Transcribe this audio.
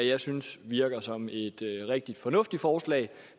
jeg synes virker som et rigtig fornuftigt forslag